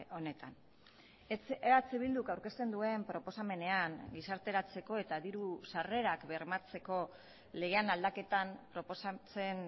honetan eh bilduk aurkezten duen proposamenean gizarteratzeko eta diru sarrerak bermatzeko legean aldaketan proposatzen